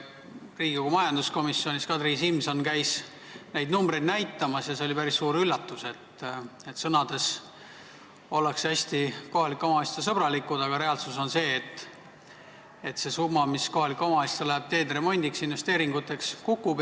Riigikogu majanduskomisjonis käis Kadri Simson neid numbreid näitamas ja see oli päris suur üllatus, et sõnades ollakse hästi suured kohalike omavalitsuste sõbrad, aga reaalsus on see, et summa, mis kohalikele omavalitsustele läheb teede remondiks ja investeeringuteks, kukub.